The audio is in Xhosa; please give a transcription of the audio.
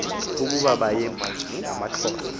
ukuba bayemka ngamaxhosa